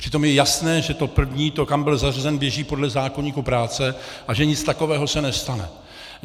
Přitom je jasné, že to první, to, kam byl zařazen, běží podle zákoníku práce a že nic takového se nestane.